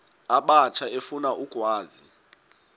abatsha efuna ukwazi